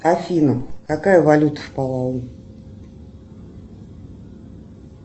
афина какая валюта в палау